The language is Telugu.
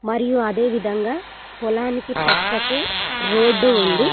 మరియు అదేవిధంగా పొలానికి పక్కకు రోడ్డు ఉంది.